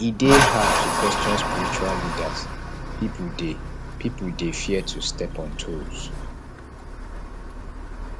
e dey hard to question spiritual leaders pipo dey pipo dey fear to step on toes